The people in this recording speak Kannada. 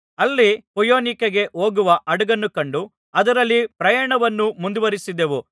ಅಲ್ಲಿ ಫೊಯಿನೀಕೆಗೆ ಹೋಗುವ ಹಡಗನ್ನು ಕಂಡು ಅದರಲ್ಲಿ ಪ್ರಯಾಣವನ್ನು ಮುಂದುವರೆಸಿದೆವು